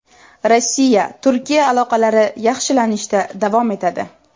Rossiya-Turkiya aloqalari yaxshilanishda davom etadi.